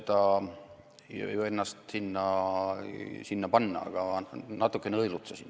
Ma ei oska ennast sinna olukorda panna, aga ma natukene õelutsesin.